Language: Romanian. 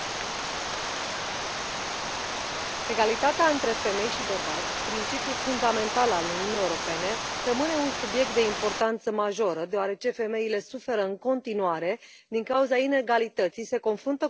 Doamnă președintă, egalitatea între femei și bărbați, principiul fundamental al Uniunii Europene, rămâne un subiect de importanță majoră, deoarece femeile suferă în continuare din cauza inegalității, se confruntă cu multiple forme de discriminare.